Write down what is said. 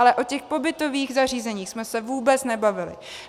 Ale o těch pobytových zařízeních jsme se vůbec nebavili.